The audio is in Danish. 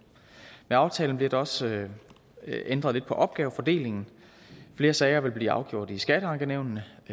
med aftalen bliver der også ændret lidt på opgavefordelingen flere sager vil blive afgjort i skatteankenævnene